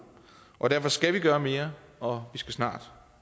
og derfor skal vi gøre mere og vi skal snart